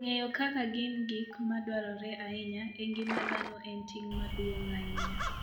Ng'eyo kaka gin gik madwarore ahinya e ngima dhano en ting' maduong' ahinya.